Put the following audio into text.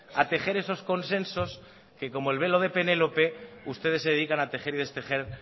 a tejer esos consensos que como el velo de penélope ustedes se dedican a tejer y destejer